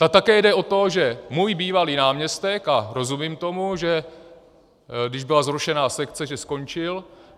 A také jde o to, že můj bývalý náměstek - a rozumím tomu, že když byla zrušena sekce, že skončil.